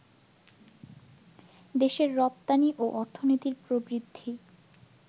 দেশের রপ্তানি ও অর্থনীতির প্রবৃদ্ধি